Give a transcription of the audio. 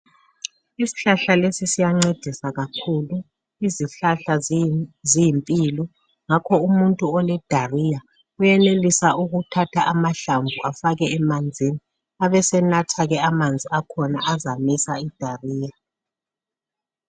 Isihlahla lesi siyancedisa kakhulu. Izihlahla ziyimpilo ngakho umuntu olesihudo uyenelisa ukuthatha amahlamvu afake emanzini abesenatha ke amanzi akhona azamisa isihudo.